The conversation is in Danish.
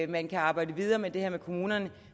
man kan arbejde videre med det her med kommunerne